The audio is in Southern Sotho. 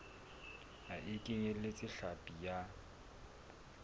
ha e kenyeletse hlapi ya